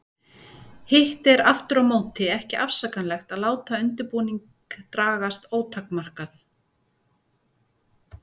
Hitt er aftur á móti ekki afsakanlegt að láta undirbúning dragast ótakmarkað.